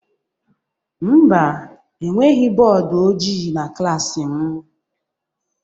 Mba, enweghị bọọdụ ojii na klaasị m.